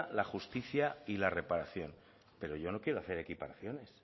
la justicia y la reparación pero yo no quiero hacer equiparaciones